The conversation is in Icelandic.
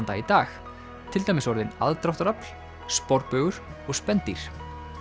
dag í dag til dæmis orðin aðdráttarafl sporbaugur og spendýr